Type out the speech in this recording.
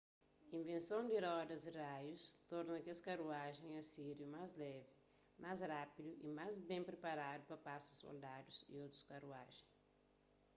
invenson di rodas di raius torna kes karuajen asíriu más levi más rápidu y más ben priparadu pa pasa soldadus y otus karuajen